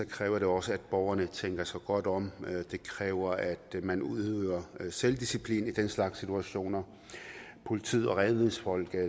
kræver det også at borgerne tænker sig godt om det kræver at man udøver selvdisciplin i den slags situationer politiet og redningsfolk